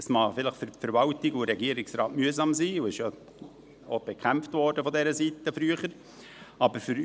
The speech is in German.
Es mag für die Verwaltung und für den Regierungsrat vielleicht mühsam sein, und es wurde früher von dieser Seite ja auch bekämpft.